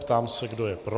Ptám se, kdo je pro.